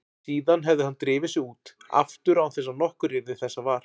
Síðan hefði hann drifið sig út aftur án þess að nokkur yrði þessa var.